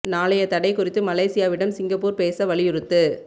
நாளைய தடை குறித்து மலேசியாவிடம் சிங்கப்பூர் பேச வலியுறுத்து